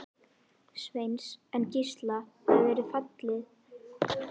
Líklega er verið að stinga út.